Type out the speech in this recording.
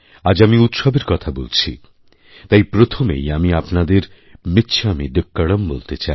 আজ আমি উৎসবের কথা বলছি তাই প্রথমেই আমি আপনাদের মিচ্ছামিদুক্কড়ম বলতে চাই